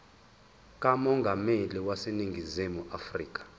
kamongameli waseningizimu afrika